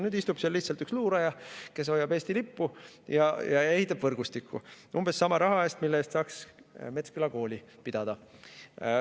Nüüd istub seal lihtsalt üks luuraja, kes hoiab Eesti lippu ja ehitab võrgustikku umbes sama raha eest, mille eest saaks Metsküla kooli pidada.